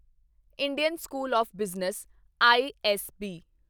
Indian School of Business ISB